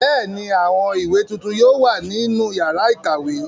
Bẹ́ẹ̀ ni, àwọn ìwé tuntun yóò wà nínú ìyàrá-ìkàwé.